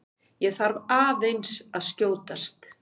ÉG ÞARF AÐEINS AÐ SKJÓTAST!